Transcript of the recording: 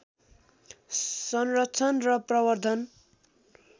संरक्षण र प्रवर्द्धन